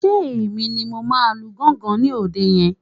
Ṣé Èmi ni mo máa lu gángan ní òde yẹn